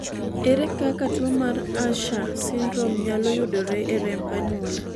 ere kaka tuo mar Usher syndrome nyalo yudore e remb anyuola